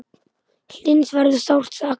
Hlyns verður sárt saknað.